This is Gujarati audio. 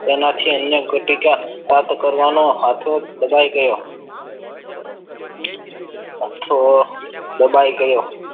તેનાથી અન્ન ગુટિકા પ્રાપ્ત કરવાનો હતો દબાઈ ગય તો દબાઈ ગયો.